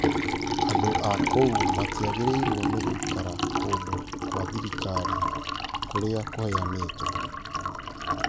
Andũ a kũu matiagĩrĩirwo nĩ gũikara kũndũ kwa thirikari kũrĩa kwaheanĩtwo.